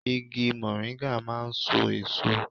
Igi mọ̀ríńgà máà ń so èso